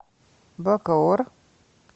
бакоор